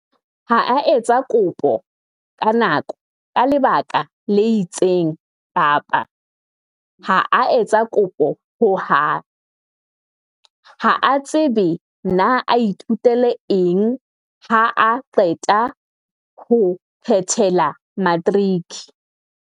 Ha a etsa kopo ka nako ka lebaka le itseng kapa ha a etsa kopo ho hang. Ha a tsebe na a ithutele eng haa qeta ho phethela matriki.